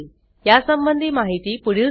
यासंबंधी माहिती पुढील साईटवर उपलब्ध आहे